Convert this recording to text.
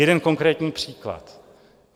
Jeden konkrétní příklad.